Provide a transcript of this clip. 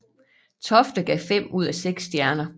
Tofte gav fem ud af seks stjerner